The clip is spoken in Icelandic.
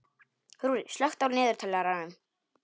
Rúrí, slökktu á niðurteljaranum.